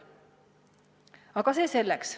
Aga see selleks.